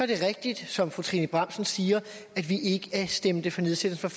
det rigtigt som fru trine bramsen siger at vi ikke stemte for nedsættelsen